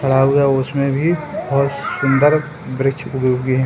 खड़ा हुआ हैउसमें भी बहुत सुन्दर वृक्ष उगे हुए हैं।